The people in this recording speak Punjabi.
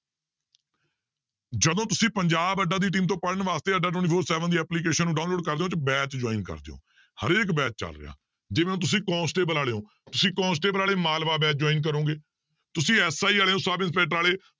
ਜਦੋਂ ਤੁਸੀਂ ਪੰਜਾਬ ਅੱਡਾ ਦੀ team ਤੋਂ ਪੜ੍ਹਨ ਵਾਸਤੇ ਦੀ application ਨੂੰ download ਕਰਦੇ ਹੋ ਤੇ batch join ਕਰਦੇ ਹੋ, ਹਰੇਕ batch ਚੱਲ ਰਿਹਾ ਜਿਵੇਂ ਹੁਣ ਤੁਸੀਂ ਕੋਂਸਟੇਬਲ ਵਾਲੇ ਹੋ ਤੁਸੀਂ ਕੋਂਸਟੇਬਲ ਵਾਲੇ ਮਾਲਵਾ batch join ਕਰੋਗੇ ਤੁਸੀਂ SI ਵਾਲੇ ਹੋ ਸਬ ਇੰਸਪੈਕਟਰ ਵਾਲੇ